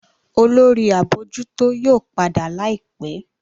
Olórí abojuto yóò pàdà láìpé.